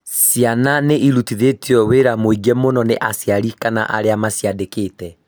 ciana nĩ irutithĩtio wĩra mũingĩ mũno nĩ aciari kana arĩa maciandĩkĩte